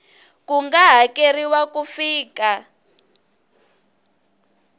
ku nga hakeriwa ku fika